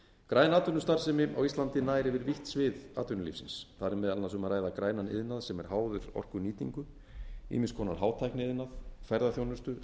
græn atvinnustarfsemi á íslandi nær yfir vítt svið atvinnulífsins þar er meðal annars um ræða grænan iðnað sem er háður orkunýtingu ýmiss konar hátækniiðnað ferðaþjónustu